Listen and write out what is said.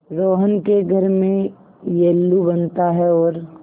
रोहन के घर में येल्लू बनता है और